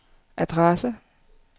adresse